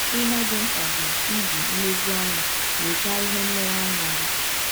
Ihe dị mkpa bụ iji nlezianya nyochaa ihe nlereanya gị.